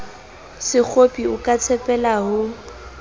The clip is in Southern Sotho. sekgopi o ka tshepela ho